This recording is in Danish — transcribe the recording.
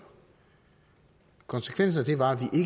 konsekvensen af det var at